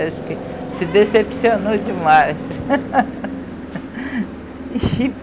Acho que se decepcionou demais.